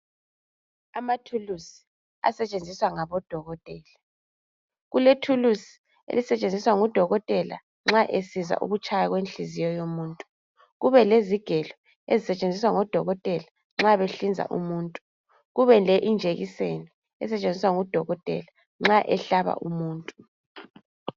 Ama thuluzi asetshenziswa ngabodokotela, kulethuluzi elisetshenziswa ngudokotela nxa esizwa ukutshiya kwenhliziyo yomuntu, kubelezigelo ezisetshenziswa ngudokotela nxa behlinza umuntu, kubele injekiseni esetshenziswa ngu dokotela nxa ehlaba umuntu.